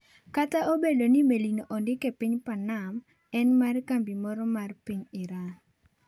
Kata obedo ni melino ondik e piny Panama, en mar kambi moro mar piny Iran.